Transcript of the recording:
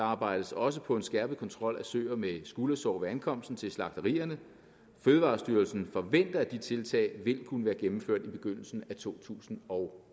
arbejdes også på en skærpet kontrol af søer med skuldersår ved ankomsten til slagterierne fødevarestyrelsen forventer at de tiltag vil kunne være gennemført i begyndelsen af to tusind og